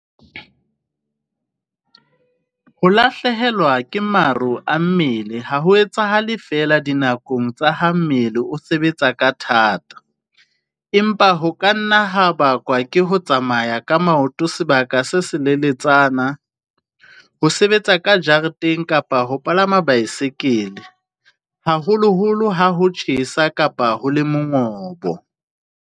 Ho lahlehelwa ke maro a mmele ha ho etsahale feela dinakong tsa ha mmele o sebetsa ka thata, empa ho ka nna ha bakwa ke ho tsamaya ka maoto sebaka se seleletsana, ho sebetsa ka jareteng kapa ho palama baesekele, haholoholo ha ho tjhesa kapa ho le mongobo.